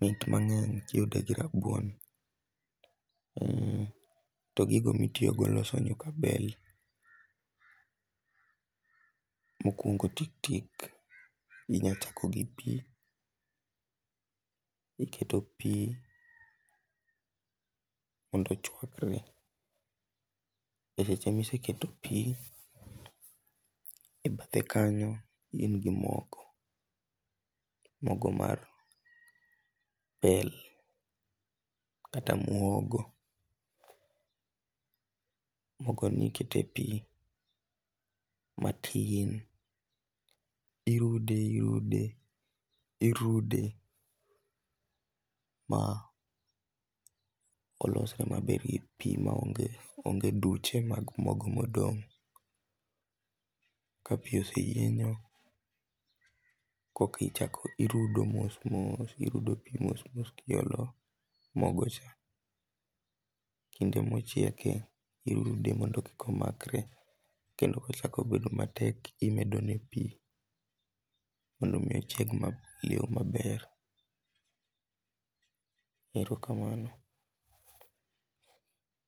mit mang'eny kiyude gi rabuon .To gigo mitiyo go e loso nyuk abel mokuongo tik tik inya chako gi pii, iketo pii mondo ochwakre, eseche ma iseketo pii, iket ekanyo iriwe gi mogo, mogo mar bel kata muogo. Mogo ni iket epii ma pii yieny, irude irude, irude ma olosre maber e pii maonge duchemag mogo modong ka pii oseyienyo koka ichako irudo mos mos, irudo pii mos mos kiolo mogo cha. Kinde mochieke irude mondo kik omakre, kendo kochako bedo matek, imedo ne pii mondo mi ochiek e yoo maber. Erokamano